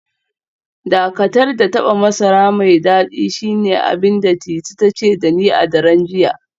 Dakatar da taba masara mai dadi shine abin da Titi ta ce da ni a daren jiya